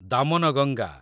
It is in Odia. ଦାମନଗଙ୍ଗା